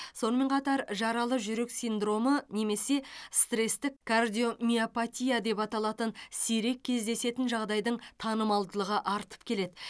сонымен қатар жаралы жүрек синдромы немесе стресстік кардиомиопатия деп аталатын сирек кездесетін жағдайдың танымалдығы артып келеді